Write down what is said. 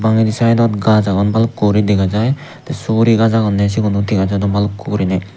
bangedi side ot gaj agon balukku guri dega jai te suguri gaj agonne sigun u dega jadon bhalukku guriney.